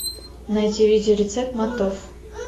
найти видео рецепт мантов